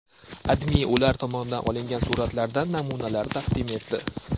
AdMe ular tomonidan olingan suratlardan namunalar taqdim etdi .